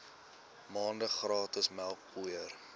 maande gratis melkpoeier